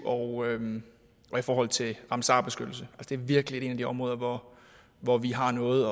og i forhold til ramsarbeskyttelse det er virkelig et af de områder hvor hvor vi har noget